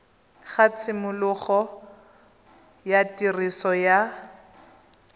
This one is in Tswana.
ga tshimologo ya tiriso ya